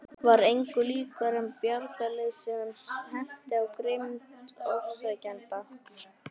Var engu líkara en bjargarleysi hans herti á grimmd ofsækjendanna.